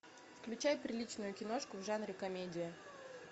включай приличную киношку в жанре комедия